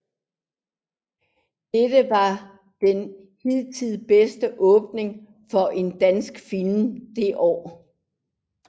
Dette var den hidtil bedste åbning for en dansk film det år